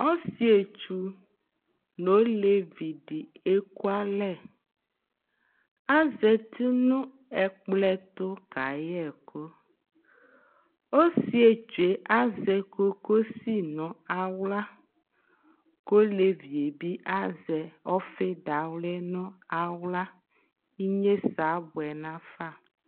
ɔsietsu n'olevi di eku alɛ azati no ɛkplɔ ɛto ka yɛ ɛkò ɔsietsu yɛ azɛ kokosi no ala k'olevi yɛ bi azɛ ɔfi dawli no ala inyese aboɛ nafa